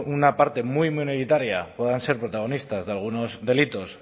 una parte muy minoritaria puedan ser protagonistas de algunos delitos